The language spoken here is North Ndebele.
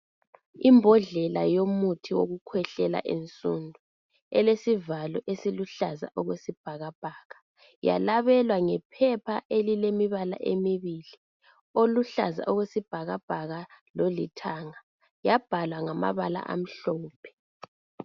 Imbodlela yomuthi wokukhwehlela ensundu, elesivalo esiluhlaza okwesibhakabhaka yalabelwa ngephepha elelemibala emibili. Oluhlaza okwesibhakabhaka lolithanga. Yabhalwa ngamabala amhlophe.